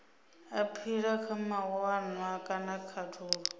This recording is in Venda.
aphila kha mawanwa kana khathulo